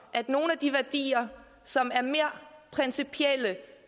at de værdier som er mere principielle